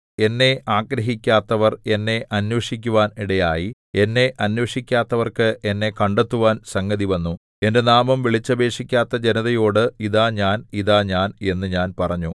എന്നെ ആഗ്രഹിക്കാത്തവർ എന്നെ അന്വേഷിക്കുവാൻ ഇടയായി എന്നെ അന്വേഷിക്കാത്തവർക്ക് എന്നെ കണ്ടെത്തുവാൻ സംഗതിവന്നു എന്റെ നാമം വിളിച്ചപേക്ഷിക്കാത്ത ജനതയോട് ഇതാ ഞാൻ ഇതാ ഞാൻ എന്നു ഞാൻ പറഞ്ഞു